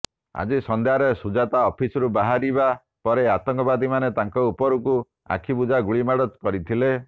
ଆଜି ସନ୍ଧ୍ୟାରେ ସୁଜାତ୍ ଅଫିସରୁ ବାହାରିବା ପରେ ଆତଙ୍କବାଦୀମାନ ତାଙ୍କ ଉପରକୁ ଆଖିବୁଜା ଗୁଳିମାଡ଼ କରିଥିଲେ